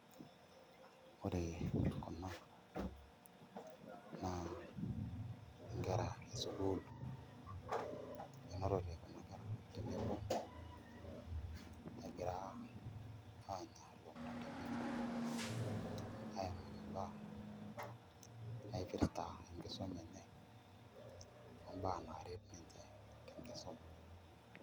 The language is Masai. Ore kuna naa nkera esukuul enotote kuna kerra egira aanya ilomon tenebo imbaa naaret ninche.